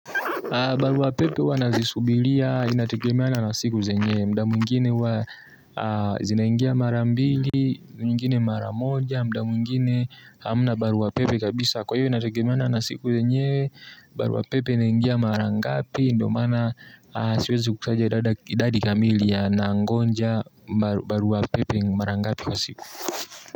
Barua pepe huwa nazisubiria, inategemeana na siku zenyewe, muda mwingine huwa zinaingia mara mbili, mwingine mara moja, muda mwingine hamna barua pepe kabisa. Kwa hivyo inategemeana na siku yenyewe, barua pepe inaingia mara ngapi, ndio maana siwezi kusaja idadi kamili nangoja barua pepe mara ngapi kwa siku.